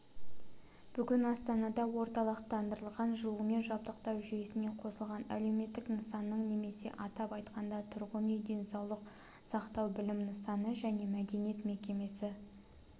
бүгін астанада орталықтандырылған жылумен жабдықтау жүйесіне қосылған әлеуметтік нысанның немесе атап айтқанда тұрғын үй денсаулық сақтау білім нысаны және мәдениет мекемесі